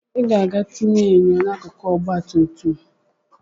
Ị ga-aga tinye enyo akụkụ n'ọgbatumtum ahụ!